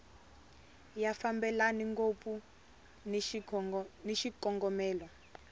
ya fambelani ngopfu ni xikongomelo